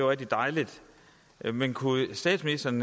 rigtig dejligt men kunne statsministeren